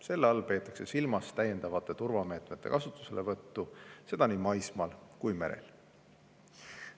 Selle all peetakse silmas täiendavate turvameetmete kasutuselevõttu, seda nii maismaal kui ka merel.